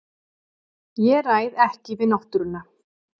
Ég ræð ekki við náttúruna.